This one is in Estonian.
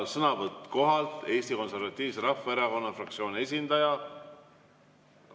Sõnavõtt kohalt, Eesti Konservatiivse Rahvaerakonna fraktsiooni esindaja.